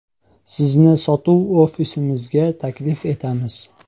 Sizni sotuv ofisimizga taklif etamiz.